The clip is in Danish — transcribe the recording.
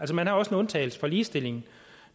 man har også en undtagelse fra ligestilling